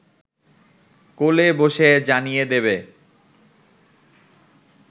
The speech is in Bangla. কোলে বসে জানিয়ে দেবে